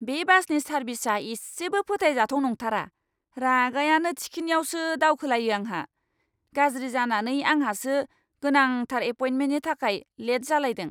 बे बासनि सारभिसआ इसेबो फोथायजाथाव नांथारा, रागायानो थिखिनियावसो दावखोलायो आंहा। गाज्रि जानानै आंहासो गोनांथार एपइन्टमेन्टनि थाखाय लेट जालायदों!